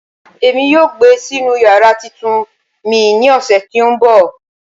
Emi yoo gbe sinu yara titun mi ni ọsẹ ti nbọ